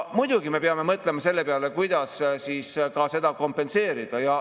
Muidugi me peame mõtlema selle peale, kuidas seda kompenseerida.